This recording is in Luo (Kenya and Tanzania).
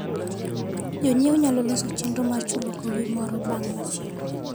Jonyiewo nyalo loso chenro mar chulo gowi moro bang' machielo.